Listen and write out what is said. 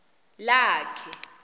lakhe